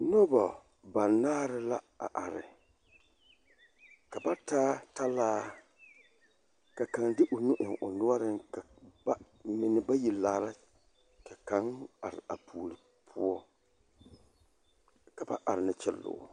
Nobɔ banaare la a are ka ba taa talaa ka kaŋ de o nu eŋ o noɔriŋ ba mine bayi laara ka kaŋ a are a puori poɔ ka ba are ne kyilloo.